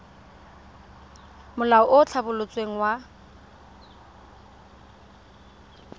molao o o tlhabolotsweng wa